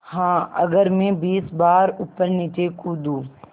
हाँ अगर मैं बीस बार ऊपरनीचे कूदूँ